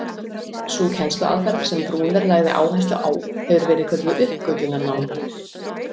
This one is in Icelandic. Sú kennsluaðferð sem Bruner lagði áherslu á hefur verið kölluð uppgötvunarnám.